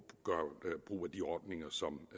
så